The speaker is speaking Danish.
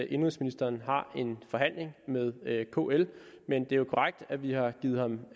indenrigsministeren har en forhandling med kl men det er jo korrekt at vi har givet ham